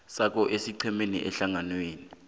sakho esiqhemeni ehlanganweni